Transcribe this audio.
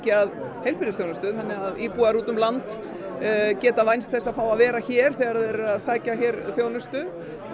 að heilbrigðisþjónustu þannig að íbúar út um land geta vænst þess að vera hér þegar þeir eru að sækja þjónustu